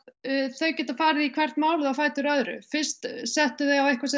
þau geta farið í hvert málið á fætur öðru fyrst settu þau á eitthvað sem